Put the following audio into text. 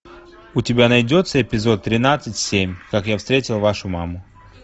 у тебя найдется эпизод тринадцать семь как я встретил вашу маму